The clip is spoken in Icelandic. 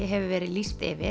hefur verið lýst yfir